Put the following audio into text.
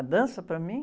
A dança para mim?